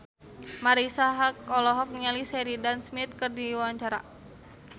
Marisa Haque olohok ningali Sheridan Smith keur diwawancara